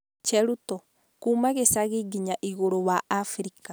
Cheruto: kuuma gĩcagi nginya igũrũ wa africa.